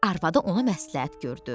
Arvadı ona məsləhət gördü: